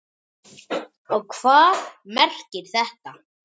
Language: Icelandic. Og hvað merkir þetta?